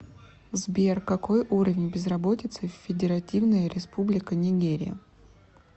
сбер какой уровень безработицы в федеративная республика нигерия